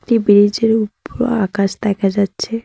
এই ব্রিজ -এর উপর আকাশ দেখা যাচ্ছে।